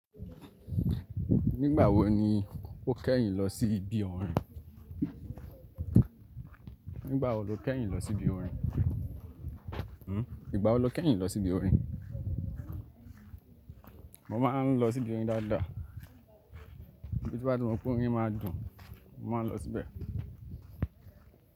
Nígbà wo ni o kẹ́yìn lọ sí ibi orin? Nígbà wo lo kẹ́yìn lọ sí ibi orin? Nígbà wo lo kẹ́yìn lọ sí ibi orin? Mo máa ń lọ sí ibi orin dáadáa. Bi mo bá ti mọ pé orin máa dùn, mo máa ń lọ síbẹ̀